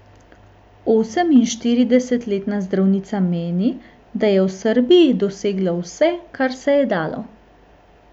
Oseminštiridesetletna zdravnica meni, da je v Srbiji dosegla vse, kar se je dalo.